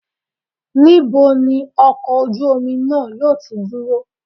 Níbo ni ọkọ̀ ojú omi náà yóò ti dúró?